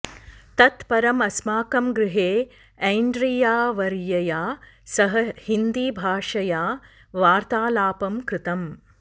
तत् परं अस्माकं गृहे एन्ड्रीयावर्यया सह हिन्दीभाषया वर्तालापं कृतम्